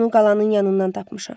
Onu qalanın yanından tapmışam.